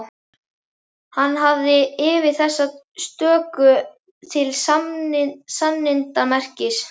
Hann hafði yfir þessa stöku til sannindamerkis